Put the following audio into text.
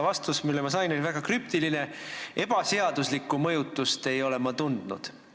Vastus, mille ma sain, oli väga krüptiline: "Ebaseaduslikku mõjutust ei ole ma tundnud.